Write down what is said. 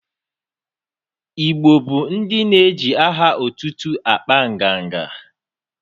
Igbo bụ ndị na-eje aha otutu akpa nganga.